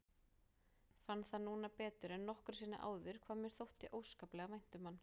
Fann það núna betur en nokkru sinni áður hvað mér þótti óskaplega vænt um hann.